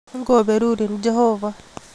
Ngoberurin jehovah